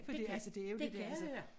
Fordi altså det jo ikke det altså